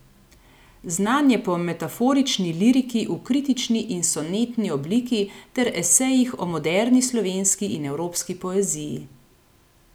Znan je po metaforični liriki v kritični in sonetni obliki ter esejih o moderni slovenski in evropski poeziji.